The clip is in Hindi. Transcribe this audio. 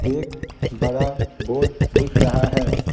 एक बड़ा बोर्ड दिख रहा है ।